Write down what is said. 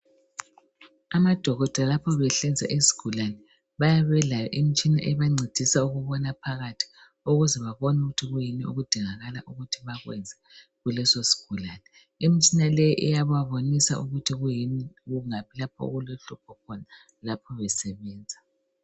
Amadokotela lapho behlinza isigulane bayabe belayo imitshina ebancedisa ukubona phakathi ukuze babone ukuthi kuyini okudingakala ukuthi bakwenze kuleso isigulane. Imitshina le iyababonisa ukuthi kuyini, kungaphi lapho okulohlupho khona lapho besebenza.